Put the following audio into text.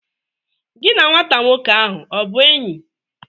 Gi na nwata nwoke ahụ ọ bụ enyi?